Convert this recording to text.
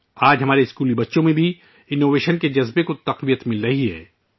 آج ہمارے اسکول کے بچوں میں بھی جدت پسندی کے جذبے کو فروغ دیا جا رہا ہے